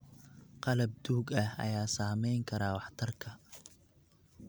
Qalab duug ah ayaa saameyn kara waxtarka.